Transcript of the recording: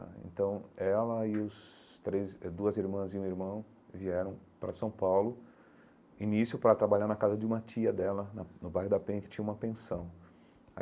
Ah então ela e os três duas irmãs e um irmão vieram para São Paulo, início para trabalhar na casa de uma tia dela né, no bairro da Penha, que tinha uma pensão.